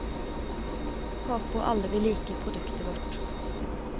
Håper alle vil like produktet vårt.